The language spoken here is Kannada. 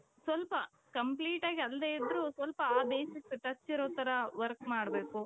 ಸ್ವಲ್ಪ complete ಆಗಿ ಅಲ್ದೆ ಇದ್ರೂ ಸ್ವಲ್ಪ basic touch ಇರೋ ತರ work ಮಾಡ್ಬೇಕು.